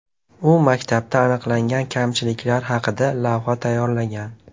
U maktabda aniqlagan kamchiliklar haqida lavha tayyorlagan.